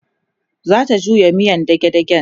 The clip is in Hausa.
zanta juya miyan dage dagen